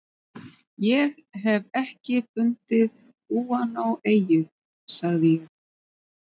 Ég hef ekki fundið gúanóeyju, sagði ég.